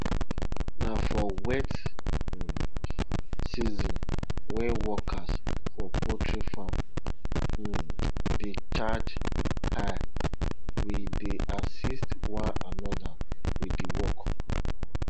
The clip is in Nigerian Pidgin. na for wet um season when workers for poultry farm um dey charge high we dey assist one another with the work